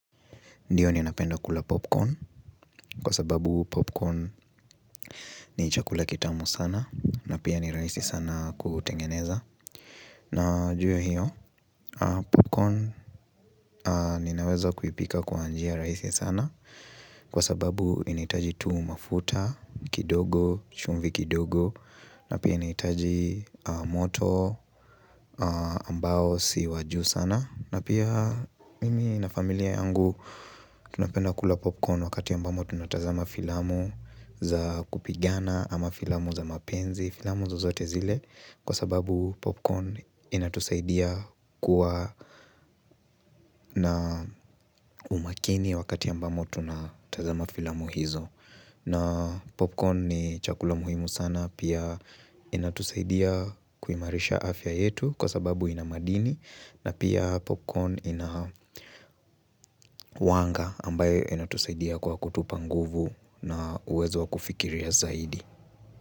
Ndiyo ninapenda kula popcorn, kwa sababu popcorn ni chakula kitamu sana, na pia ni rahisi sana kutengeneza. Na juu ya hiyo, popcorn nina uwezo kuipika kwa njia rahisi sana, kwa sababu inahitaji tu mafuta kidogo, chumvi kidogo, na pia inahitaji moto ambao si wa juu sana. Na pia mimi na familia yangu tunapenda kula popcorn wakati ambamo tunatazama filamu za kupigana ama filamu za mapenzi, filamu zozote zile kwa sababu popcorn inatusaidia kuwa na umakini wakati ambamo tunatazama filamu hizo. Na popcorn ni chakula muhimu sana pia inatusaidia kuimarisha afya yetu kwa sababu ina madini na pia popcorn inakuanga ambayo inatusaidia kwa kutupa nguvu na uwezo wa kufikiria zaidi.